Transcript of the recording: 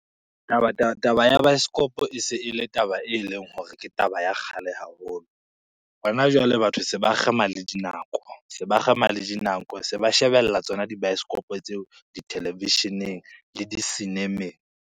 Taba ya baesekopo e se e le taba eleng hore ke taba ya kgale haholo. Hona jwale, batho seba kgema le dinako, se ba kgema le dinako. Se ba shebella tsona dibaesekopo tseo dithelevisheneng le di cinema-eng.